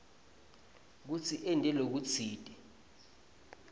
kutsi ente lokutsite